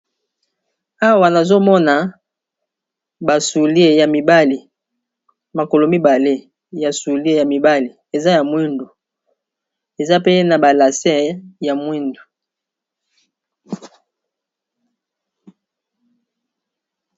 Awa nazomona ba soulier ya mibale makolo mibale ya soulier ya mibale eza ya mwindu eza pe na ba lase ya mwindu.